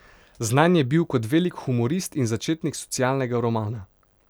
Znan je bil kot velik humorist in začetnik socialnega romana.